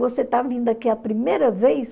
Você está vindo aqui a primeira vez?